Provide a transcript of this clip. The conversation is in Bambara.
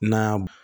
Na